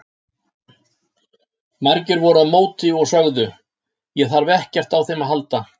Margir voru á móti og sögðu: Ég þarf ekkert á þeim að halda.